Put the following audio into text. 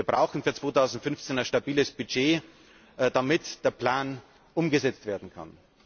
Wir brauchen für 2015 ein stabiles Budget, damit der Plan umgesetzt werden kann.